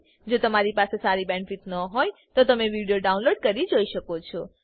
જો તમારી પાસે સારી બેન્ડવિડ્થ ન હોય તો તમે વિડીયો ડાઉનલોડ કરીને જોઈ શકો છો